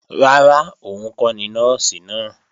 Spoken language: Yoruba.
Rárá, òun kọ́ ni Nọ́ọ̀sì náà